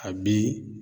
A bi